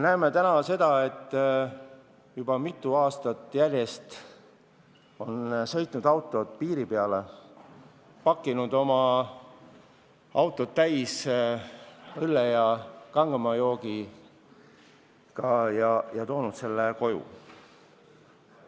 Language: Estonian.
Me teame, et juba mitu aastat järjest on sõitnud autod teisele poole piiri, inimesed on pakkinud oma autod täis õlut ja kangemaid jooke ja toonud selle kõik koju.